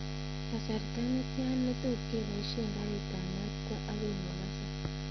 Kasarta netian ne tot kobaishen karit ab maat kwo agoi mombasa